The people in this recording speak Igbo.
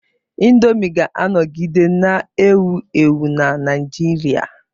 Indomi ga-anọgide na-ewu ewu na Naijiria.